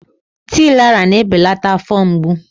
Tii Laraa na-ebelata afọ mgbu.